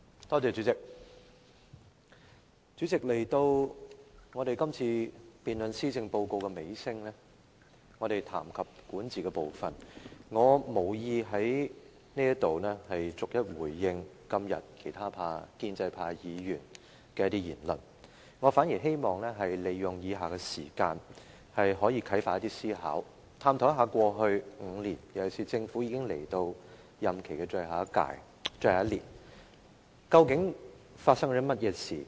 代理主席，來到今次施政報告辯論的尾聲，我們談及管治的部分，我無意在此對今天其他建制派議員的言論逐一回應，我反而希望利用以下時間啟發思考，探討一下在過去5年，尤其是政府已到了任期的最後1年，究竟發生了甚麼事情？